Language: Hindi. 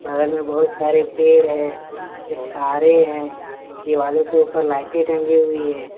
बगल में बहुत सारे पेड़ हैं फिर तारे हैं दिवालो के ऊपर लाइटें टंगी हुई है।